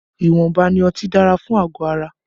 Ìwọ̀nba ni ọtí dára fún àgọ̀ ara